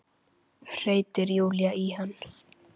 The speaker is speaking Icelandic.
hreytir Júlía í hana.